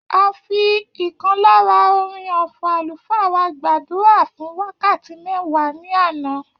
A fi ìkan lára orin ọfọ̀ àlùfáà wá gbàdúrà fún wákàtí mẹwa ní àná